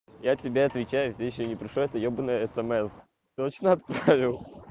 я тебе отвечаю всё ещё не пришло это ёбаное смс точно отправил